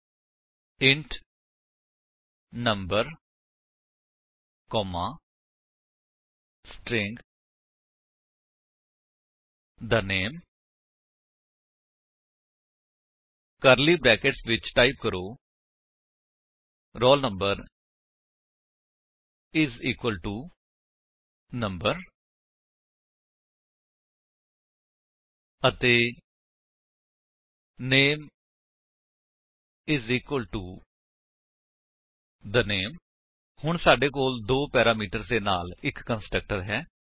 ਹੁਣ ਟਾਈਪ ਕਰੋ student parenthesis ਵਿੱਚ int number comma string the name curly brackets ਵਿੱਚ ਟਾਈਪ ਕਰੋ roll number is equal to number ਅਤੇ name is equal to the name ਹੁਣ ਸਾਡੇ ਕੋਲ ਦੋ ਪੈਰਾਮੀਟਰਸ ਦੇ ਨਾਲ ਇੱਕ ਕੰਸਟਰਕਟਰ ਹੈ